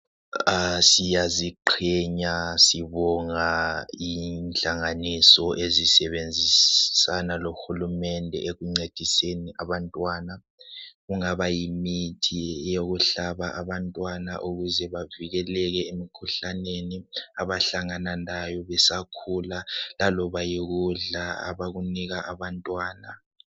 Ah siyaziqhenya sibonga inhlanganiso ezisebenzisana lohulumende ekuncediseni abantwana kungaba yimithi yokuhlaba abantwana ukuze bavikelele emikhuhlaneni abahlangana layo besakhula laloba yikudla abakunika abantwana.